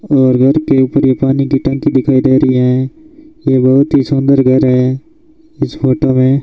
और घर के ऊपर ये पानी की टंकी दिखाई दे रही है ये बहुत ही सुंदर घर है इस फोटो मे --